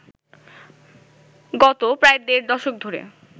গত প্রায় দেড় দশক ধরে